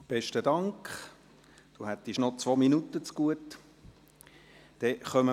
Besten Dank, Sie hätten noch 2 Minuten Redezeit zugute gehabt.